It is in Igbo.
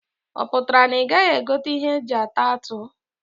Ọ pụtara na ị gaghị egote ihe aji ata atụ?